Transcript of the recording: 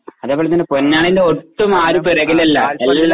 അതുപോലെ തന്നെ പൊന്നാനിയിൽ ഒട്ടും ആരും പുറകിലല്ല.